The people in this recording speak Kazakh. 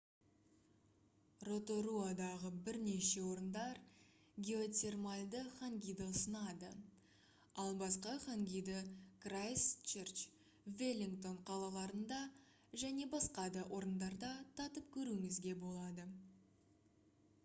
роторуадағы бірнеше орындар геотермальды хангиді ұсынады ал басқа хангиді крайстчерч веллингтон қалаларында және басқа да орындарда татып көруіңізге болады